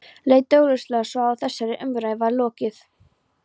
Leit augljóslega svo á að þessari umræðu væri lokið.